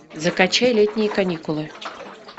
закачай летние каникулы